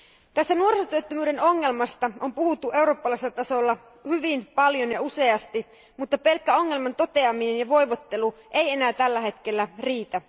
Tästä nuorisotyöttömyyden ongelmasta on puhuttu eurooppalaisella tasolla hyvin paljon ja useasti, mutta pelkkä ongelman toteaminen ja voivottelu eivät enää tällä hetkellä riitä.